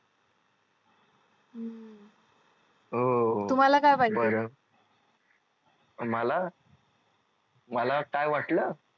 हो बर मला मला काय वाटल